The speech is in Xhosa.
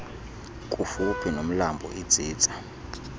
kufuphi nomlambo itsitsa